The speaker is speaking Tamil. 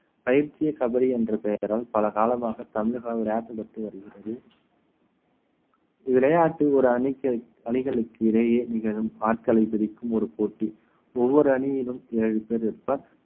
பயிற்சியே கபடி என்ற பெயரால் பல காலமாக தமிழகம் விளையாடப்பட்டு வருகிறது விளையாட்டு ஒரு அணிக்கு அணிகளுக்கு இடையே நிகழும் ஆட்களை பிடிக்கும் ஒரு போட்டி ஒவ்வொரு அணியிலும் ஏழு பேர் இருப்பார்